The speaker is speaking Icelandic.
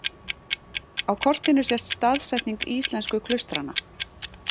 Á kortinu sést staðsetning íslensku klaustranna.